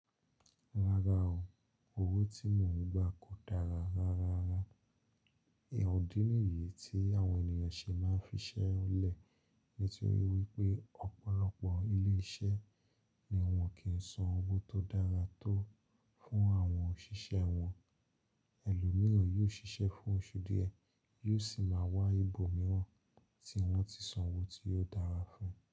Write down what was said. Rárá o, owó tí mò ń gbà kò dára rárá. E-idí nìyí tí àwọn ènìyàn ṣe máa ń fi iṣẹ́ lẹ̀, nítorí wípé ọ̀pọ̀lọpọ̀ ilé-iṣẹ́ ni wọ́n kì san owó tó dára tó fún àwọn òṣìṣẹ́ wọn. Ẹlòmíràn yóò ṣiṣẹ́ fún oṣù díẹ̀, yóò sì máa wá ibòmíràn tí wọ́n ti san owó tí ò dára fún.